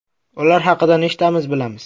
Ular haqida nechtamiz bilamiz?